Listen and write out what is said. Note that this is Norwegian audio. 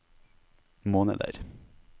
måneder